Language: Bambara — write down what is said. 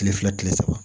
Kile fila kile saba